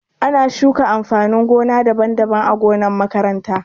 Ana shuka amfanin gona daban-daban ã gonan makaranta.